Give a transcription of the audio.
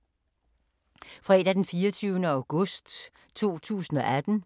Fredag d. 24. august 2018